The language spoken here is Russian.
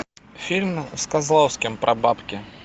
фильм с козловским про бабки